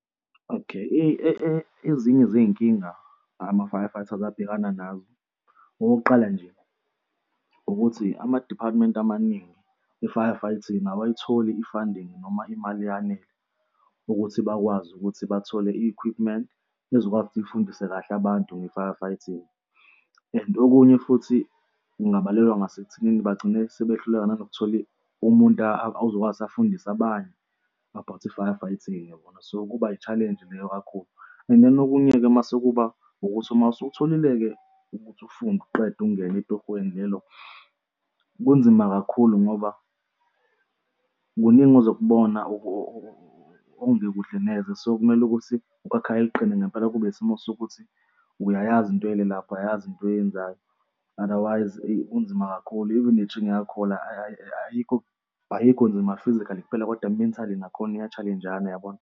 Okay, ezinye zey'nkinga ama-fire fighter abangabhekana nazo. Okokuqala nje ukuthi ama-department amaningi, i-fire fighting abayitholi i-funding noma imali eyanele ukuthi bakwazi ukuthi bathole i-equipment ezokwazi ukuthi ufundise kahle abantu nge-fire fighting. And okunye futhi kungabalelwa ngasekuthenini bagcine sebehluleka nanokuthi umuntu azokwazi ukuthi afundise abanye about i-fire fighting yabona? So kuba i-challenge leyo kakhulu. And then okunye-ke mase kuba ukuthi uma sowusuyitholile-ke ukuthi ufunde uqede ungene etohweni lelo kunzima kakhulu ngoba kuningi ozokubona okungekuhle neze, so, kumele ukuthi okwakhayo kuqine ngempela kube isimo sokuthi uyayazi into oyele lapha uyayazi into oyenzayo. Otherwise, eyi, kunzima kakhulu, even ne-training yakholwa, ayikho, ayikho nzima physically kuphela, kodwa mentally nakhona uya-challenge-ana, yabona?